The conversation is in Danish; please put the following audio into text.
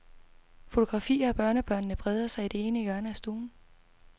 Fotografier af børnebørnene breder sig i det ene hjørne af stuen.